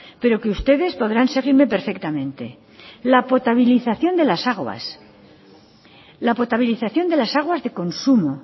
pero que ustedes podrán seguirme perfectamente la potabilización de las aguas la potabilización de las aguas de consumo